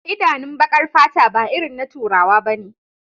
Idanun bakar fata ba irin na turawa bane